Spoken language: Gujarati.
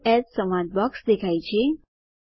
સવે એએસ સંવાદ બોક્સ દેખાય છે